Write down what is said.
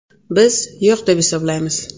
Biz yo‘q deb hisoblaymiz.